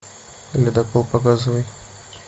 ледокол показывай